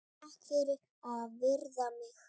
Takk fyrir að virða mig.